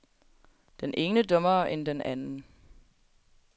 Den ene dummere end den anden.